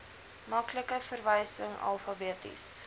maklike verwysing alfabeties